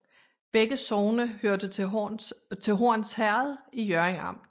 Begge sogne hørte til Horns Herred i Hjørring Amt